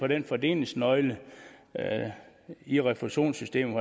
den fordelingsnøgle i refusionssystemet